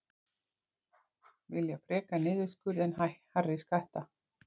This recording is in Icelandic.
Vilja frekar niðurskurð en hærri skatta